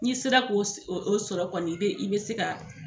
N'i sera k'o o sɔrɔ kɔni i be i be se ka